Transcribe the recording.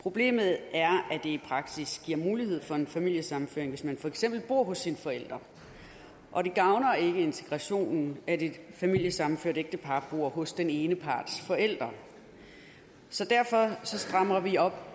problemet er at det i praksis giver mulighed for familiesammenføring hvis man for eksempel bor hos sine forældre og det gavner ikke integrationen at et familiesammenført ægtepar bor hos den ene parts forældre derfor strammer vi op